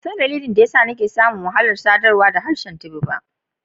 Ban san dalilin daya sa n'na samu wahala sadarwa da harshen Tiv ba.